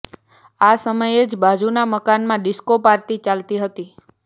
આ સમયે જ બાજુના મકાનમાં ડીસ્કો પાર્ટી ચાલતી હતી